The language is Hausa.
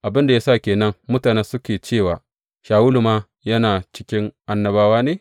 Abin da ya sa ke nan mutane suke cewa, Shawulu ma yana cikin annabawa ne?